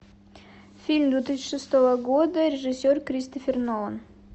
фильм две тысячи шестого года режиссер кристофер нолан